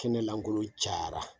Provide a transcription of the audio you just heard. Kɛnɛ lankolon caya la!